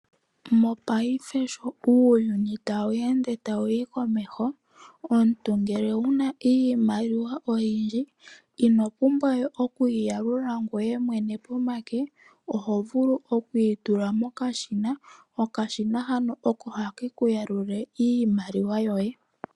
Mopaife sho uuyuni tawu ende tawuyi komeho omuntu ngele owuna iimaliwa oyindji ino pumbwa okuyi yalula ngoye mwene pomake oho vulu tula mokashina etaka yalula.